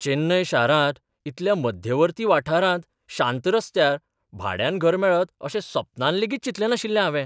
चेन्नय शारांत इतल्या मध्यवर्ती वाठारांत शांत रस्त्यार भाड्यान घर मेळत अशें सपनांत लेगीत चिंतलें नाशिल्लें हावें.